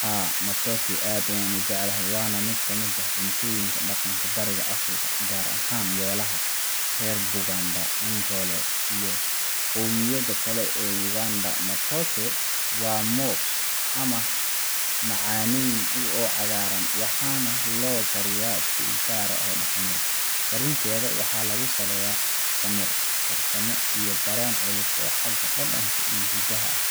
Haa, matooke aad ayaan u jeclahay, waana mid ka mid ah cuntooyinka dhaqanka Bariga Afrika, gaar ahaan beelaha reer Buganda, Ankole, iyo qowmiyadaha kale ee dalka Uganda. Matooke waa moos aan macaanayn oo cagaaran, waxaana loo kariyaa si u gaar ah oo dhaqameed. Karinteeda waxaa lagu saleeyaa samir, farsamo iyo dareen culus oo xagga dhadhanka iyo hidaha ah.